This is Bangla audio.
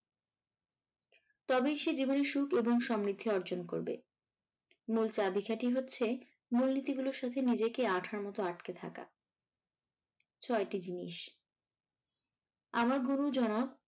তবেই সে জীবনে সুখ এবং সমৃদ্ধি অর্জন করবে। মূল চাবিকাঠি হচ্ছে মূলনীতি গুলোর সাথে নিজেকে আঠার মতো আটকে থাকা। ছয়টি জিনিস আমার গুরু যারা